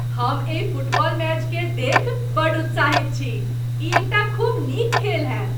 हम एहि फुटबॉल मैचकेँ देखि बड्ड उत्साहित छी! ई एकटा खूब नीक खेल हेत ।